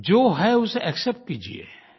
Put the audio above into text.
जो है उसे एक्सेप्ट कीजिए